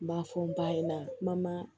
N b'a fɔ n ba ɲɛna kuma ma